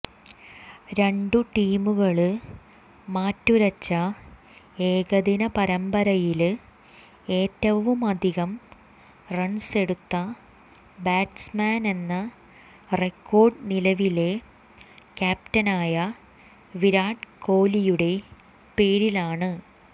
രണ്ടു ടീമുകള് മാറ്റുരച്ച ഏകദിന പരമ്പരയില് ഏറ്റവുമധികം റണ്സെടുത്ത ബാറ്റ്സ്മാനെന്ന റെക്കോര്ഡ് നിലവിലെ ക്യാപ്റ്റനായ വിരാട് കോലിയുടെ പേരിലാണ്